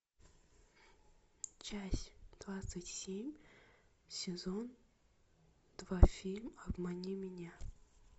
часть двадцать семь сезон два фильм обмани меня